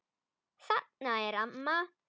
Þarna er amma!